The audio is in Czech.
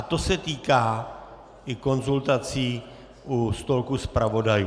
A to se týká i konzultací u stolku zpravodajů.